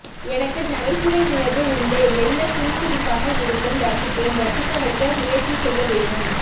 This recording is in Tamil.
எனக்கு நகைச்சுவை உணர்வு உண்டுமெல்லப் புன்சிரிப்பாக இருக்கும் ரசிப்பேன் ரசிக்க வைக்க முயற்சி செய்ய வேணும்